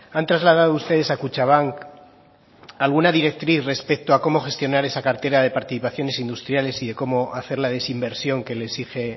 han trasladado ustedes a kutxabank alguna directriz respecto a cómo gestionar esa cartera de participaciones industriales y de cómo hacer la desinversión que le exige